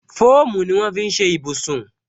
Fóòmù ni wọn fi ń ṣe ibùsùn